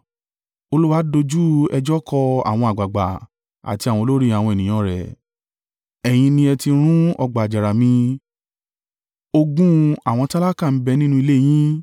Olúwa dojú ẹjọ́ kọ àwọn àgbàgbà àti àwọn olórí àwọn ènìyàn rẹ̀. “Ẹ̀yin ni ẹ ti run ọgbà àjàrà mi, ogún àwọn tálákà ń bẹ̀ nínú ilé yín.